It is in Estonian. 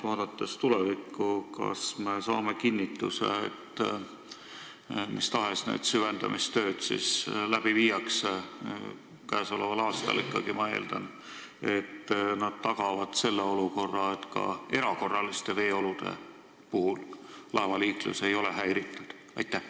Vaadates tulevikku, kas me saame kinnituse, et mis tahes süvendamistöid tehakse – käesoleval aastal ikkagi, ma eeldan –, tagavad need sellise olukorra, et ka erakorraliste veeolude puhul ei ole laevaliiklus häiritud?